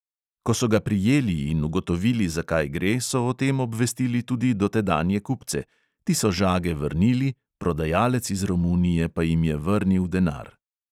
Ko so ga prijeli in ugotovili, za kaj gre, so o tem obvestili tudi dotedanje kupce – ti so žage vrnili, prodajalec iz romunije pa jim je vrnil denar.